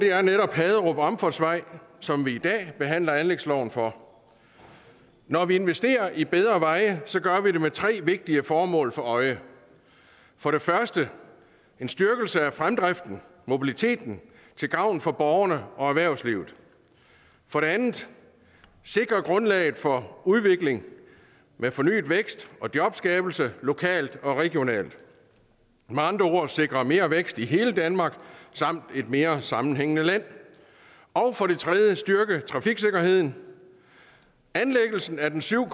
er netop haderup omfartsvej som vi i dag behandler anlægsloven for når vi investerer i bedre veje gør vi det med tre vigtige formål for øje for det første en styrkelse af fremdriften mobiliteten til gavn for borgerne og erhvervslivet for det andet at sikre grundlaget for udvikling med fornyet vækst og jobskabelse lokalt og regionalt med andre ord at sikre mere vækst i hele danmark samt et mere sammenhængende land og for det tredje at styrke trafiksikkerheden anlæggelsen af den syv